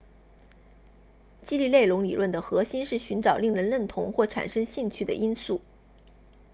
激励内容理论的核心是寻找令人认同或产生兴趣的因素